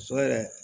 Muso yɛrɛ